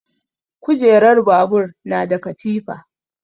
Kujerar babur na da katifa.